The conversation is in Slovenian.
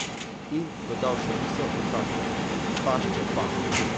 In dodal še misel o taščah: 'Tašče pa ...